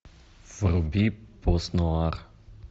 вруби постнуар